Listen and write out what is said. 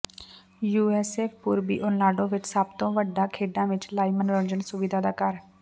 UCF ਪੂਰਬੀ Orlando ਵਿੱਚ ਸਭ ਤੋਂ ਵੱਡਾ ਖੇਡਾਂ ਅਤੇ ਲਾਈਵ ਮਨੋਰੰਜਨ ਸੁਵਿਧਾ ਦਾ ਘਰ ਹੈ